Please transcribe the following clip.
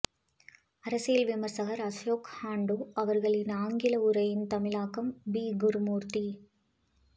அரசியல் விமரிசகர் அஷோக் ஹாண்டூ அவர்களின் ஆங்கில உரையின் தமிழாக்கம் பி குருமூர்த்தி